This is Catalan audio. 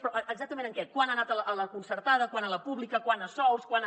però exactament en què quant ha anat a la concertada quant a la pública quant a sous quant a